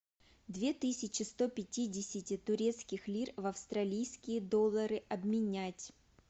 две тысячи сто пятидесяти турецких лир в австралийские доллары обменять